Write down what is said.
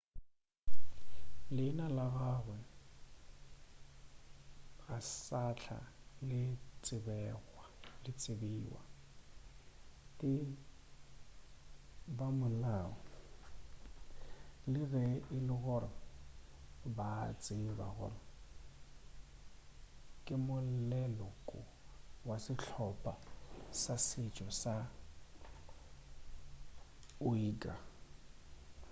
leina la gagwe ga sahla le tsebewa ke bamolao le ge e le gore ba a tseba gore ke moleloko wa sehlopa sa setšo sa uighur